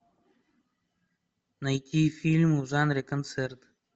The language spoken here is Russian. найти фильм в жанре концерт